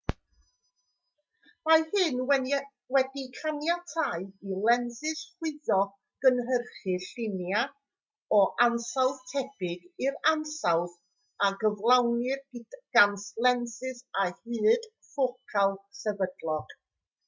mae hyn wedi caniatáu i lensys chwyddo gynhyrchu llunia o ansawdd tebyg i'r ansawdd a gyflawnir gan lensys â hyd ffocal sefydlog